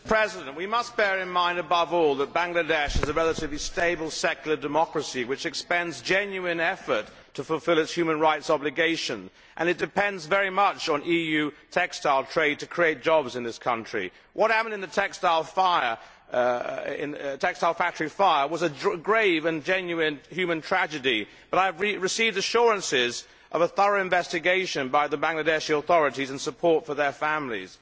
Mr President, we must bear in mind above all that Bangladesh is a relatively stable secular democracy which expends genuine effort to fulfil its human rights obligations, and it depends very much on EU textile trade to create jobs in this country. What happened in the textile factory fire was a grave and genuine human tragedy, but I have received assurances of a thorough investigation by the Bangladeshi authorities and support for their families.